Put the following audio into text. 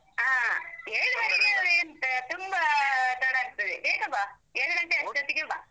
ಆ ಎಂತ? ತುಂಬಾ ತಡ ಆಗ್ತದೆ. ಬೇಗ ಬಾ. ಏಳು ಗಂಟೆ ಅಷ್ಟೊತ್ತಿಗೆ ಬಾ.